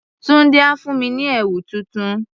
Tunde á fún mi ní ẹ̀wù tuntun.